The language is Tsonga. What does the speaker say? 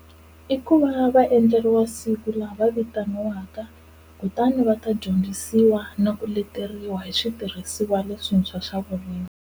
I ku va va endleriwa siku laha va vitaniwaka kutani va ta dyondzisiwa na ku leteriwa hi switirhisiwa leswintshwa swa vurimi.